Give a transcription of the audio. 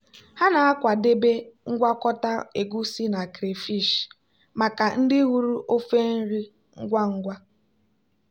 ha na-akwadebe ngwakọta egusi na crayfish maka ndị hụrụ ofe nri ngwa ngwa.